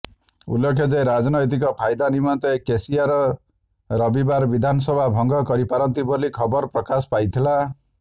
ଉଲ୍ଲେଖ ଯେ ରାଜନୈତିକ ଫାଇଦା ନିମନ୍ତେ କେସିଆର ରବିବାର ବିଧାନସଭା ଭଙ୍ଗ କରିପାରନ୍ତି ବୋଲି ଖବର ପ୍ରକାଶ ପାଇଥିଲା